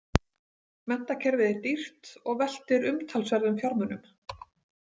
Menntakerfið er dýrt og veltir umtalsverðum fjármunum.